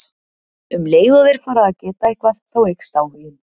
Um leið og þeir fara að geta eitthvað þá eykst áhuginn.